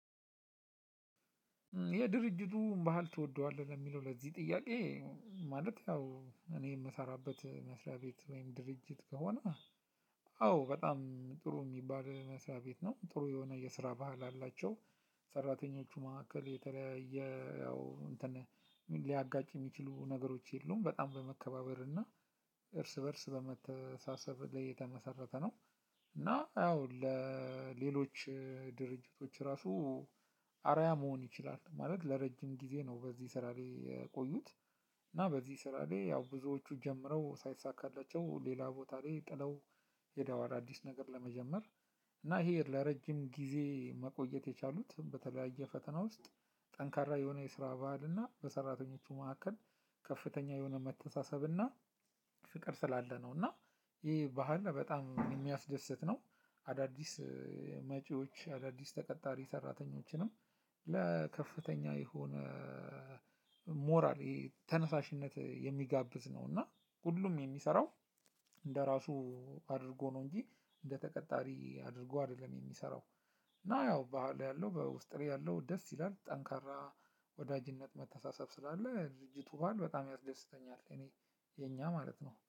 የድርጅቱን ባህል ትወደዋለህ ለሚለው ለዚህ ጥያቄ ማለት ያው እኔ የምሰራበት መስሪያ ቤት ወይም ድርጅት ከሆነ አዎ በጣም ጥሩ የሚባል መስሪያ ቤት ነው ጥሩ የሆነ የስራ ባህል አላቸው ሰራተኞቹ መካከል የተለያየ ያው እንትን ሊያጋጭ የሚችሉ ነገሮች የሉም በጣም በመከባበር እና እርስ በእርስ በመተሳሰብ ላይ የተመሰረተ ነው። እና ያው ለሌሎች ድርጅቶች ራሱ አርአያ መሆን ይችላል ማለት ለረጅም ጊዜ ነው። በዚህ ስራ ላይ የቆዩት እና በዚህ ስራ ላይ ያው ብዙዎቹ ጀምረው ሳይሳካላቸው ሌላ ቦታ ላይ ጥለው ሄደዋል አዲስ ነገር ለመጀመር። እና ይሄ ለረጅም ጊዜ መቆየት የቻሉት በተለያየ ፈተና ውስጥ ጠንካራ የሆነ የስራ በዓል እና በሰራተኞቹ መካከል ከፍተኛ የሆነ መተንሳሰብ እና ፍቅር ስላለ ነው። እና ይህ ባህል በጣም የሚያስደስት ነው። አዳዲስ መጪዎች አዳዲስ ተቀጣሪ ሰራተኞችንም ለከፍተኛ የሆነ ሞራል ተነሳሽነት የሚጋብዝ ነው። እና ሁሉም የሚሰራው እንደራሱ አድርጎ ነው እንጂ እንደተቀጣሪ አድርጎ አይደለም የሚሰራው። እና ያው በህሉ ያለው በውስጥ ላይ ያለው ደስ ይላል ጠንካራ ወዳጅነት መተሳሰብ ስላለ ድርጅቱ በህል በጣም ያስደስተኛል እኔ የኛ ማለት ነው